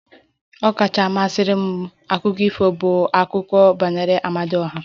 Ọkacha mmasị m akụkọ ifo bụ akụkọ banyere Amadioha